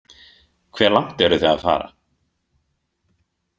Hve langt eruð þið að fara?